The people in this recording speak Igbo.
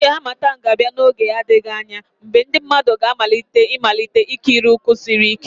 Oge Harmattan ga-abịa n'oge na-adịghị anya mgbe ndị mmadụ ga-amalite ịmalite ikiri ụkwụ siri ike